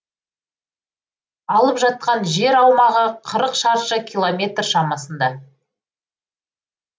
алып жатқан жер аумағы қырық шаршы километр шамасында